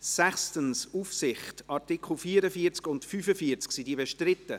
Sie haben den Antrag abgelehnt, mit 100 Nein- zu 46 Ja-Stimmen bei 4 Enthaltungen.